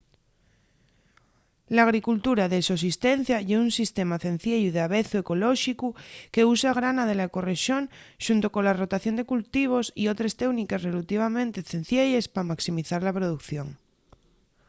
l'agricultura de sosistencia ye un sistema cenciellu y davezu ecolóxicu qu’usa grana de la ecorrexón xunto cola rotación de cultivos y otres teúniques relativamente cencielles pa maximizar la producción